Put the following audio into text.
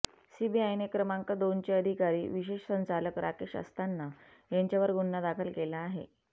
सीबीआयने क्रमांक दोनचे अधिकारी विशेष संचालक राकेश अस्थाना यांच्यावर गुन्हा दाखल केला आहे